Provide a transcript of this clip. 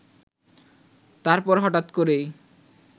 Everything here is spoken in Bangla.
তারপর হঠাৎ করেই